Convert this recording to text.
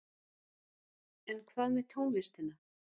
En hvað með tónlistina?